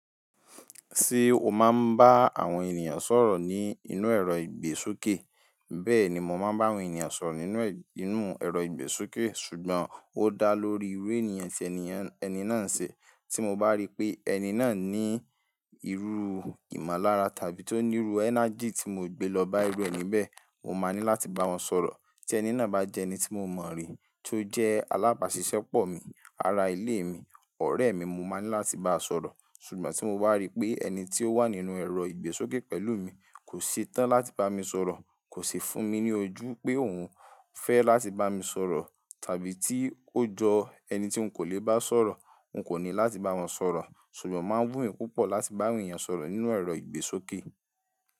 Ṣé o máa ń bá àwọn ènìyàn sọ̀rọ̀ ní inú ẹ̀rọ ìgbésókè? Bẹ́ẹ̀ni, mo máa ń bá àwọn èeyàn sọ̀rọ̀ nínú inú ẹ̀rọ ìgbésókè, ṣùgbọ́n ó dá lórí irú ènìyàn tí ẹni náà ń ṣe. Tí mo bá rí pé ẹni náà ní irú ìmọ̀lára tàbí tó ní irú energy tí mo gbé lọ bá irú ẹni bẹ́ẹ̀, mo máa ní láti bá wọn sọ̀rọ̀. Tí ẹni náà bá jẹ́ ẹni tí mo mọ̀ rí, tó jẹ́ alábàáṣiṣẹ́pọ̀ mi, ará ilé mi, ọ̀rẹ́ mi, mo máa ní láti bá sọ̀rọ̀. Ṣùgbọ́n tí mo bá rí pé ẹni tí ó wà nínú ẹ̀rọ ìgbésókè pẹ̀lú mi kò ṣe tán láti bá mi sọ̀rọ̀, kò ṣi fún mi ní ojú pé òhun fẹ́ láti bá mi sọ̀rọ̀ tàbí tí ó jọ ẹni tí n kò lè bá sọ̀rọ̀, n kò ní láti bá wọn sọ̀rọ̀. Ṣùgbọ́n o máa ń wù mí púpọ̀ láti bá àwọn èeyàn sọ̀rọ̀ nínú ẹ̀rọ ìgbésókè.